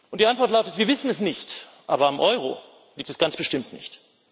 Die Antwort lautet Wir wissen es nicht, aber am Euro liegt es ganz bestimmt nicht.